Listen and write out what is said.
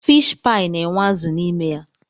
Fiish paị na-enwe azụ n'ime ya.